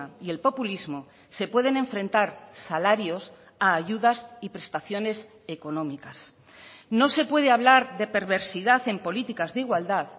y el populismo se pueden enfrentar salarios a ayudas y prestaciones económicas no se puede hablar de perversidad en políticas de igualdad